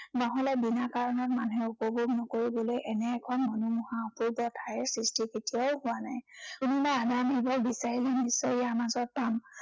নহলে বিনা কাৰণত মানুহে উপভোগ নকৰিবলৈ এনে খন মনোমোহা অপূৰ্ব ঠাইৰ সৃষ্টি কেতিয়াও হোৱা নাই। কোনোবা এজন নহয় এজন বিচাৰি বিচাৰি ইয়াৰ মাজত পাম।